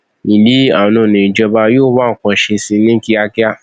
ìlíàánú ni ìjọba yóò wá nǹkan ṣe sí i ní kíákíá